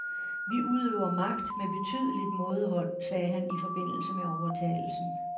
Vi udøver magt med betydeligt mådehold, sagde han i forbindelse med overtagelsen.